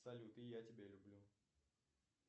салют и я тебя люблю